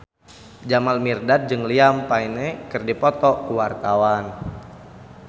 Jamal Mirdad jeung Liam Payne keur dipoto ku wartawan